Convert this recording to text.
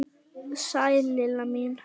Sæl Lilla mín!